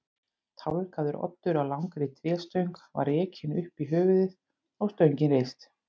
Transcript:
Tálgaður oddur á langri tréstöng var rekinn upp í höfuðið og stöngin reist.